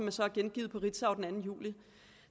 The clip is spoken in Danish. er så gengivet i ritzau den anden juli